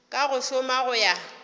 ka go šoma go ya